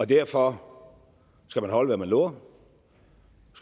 derfor skal man holde hvad man lover